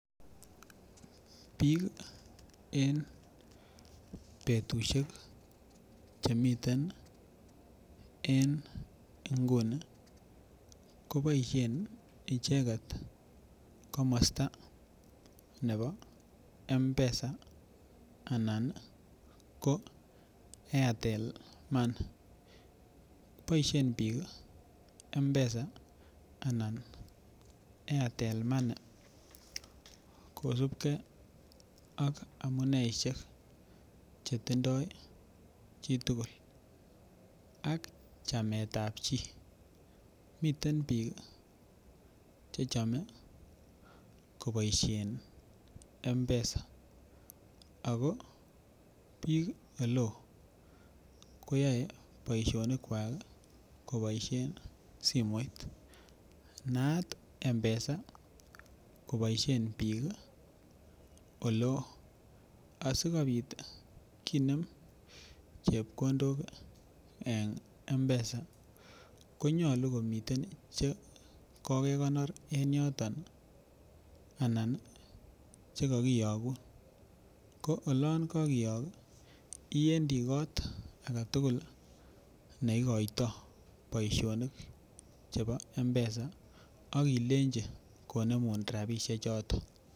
Bik en betusiek Che miten en nguni ko boisien icheget komosta nebo Mpesa anan ko airtel money boisien bik mpesa anan airtel money kosubge ak amuneisiek Chetindoi chi tugul ak chamet ab chi miten bik Che chome koboisien mpesa ako bik Ole oo koyoe boisionik kwak koboisien simoit naat mpesa koboisien bik oleo asikobit kinem chepkondok en mpesa ko nyolu komiten chepkondok Che kokenor en yoton anan ko Che kagiyogun ko oloon kagiyook ii iwendi kot age tugul ne igoitoi boisionik chebo mpesa ak ilenji konemun rabisiechoton